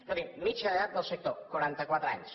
escolti mitjana d’edat del sector quaranta quatre anys